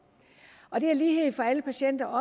lighed for alle patienter og